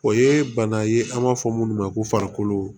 O ye bana ye an b'a fɔ minnu ma ko farikolo